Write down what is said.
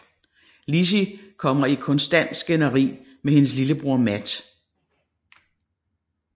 Lizzie kommer i konstant skænderi med hendes lillebror Matt